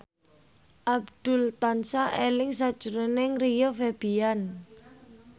Abdul tansah eling sakjroning Rio Febrian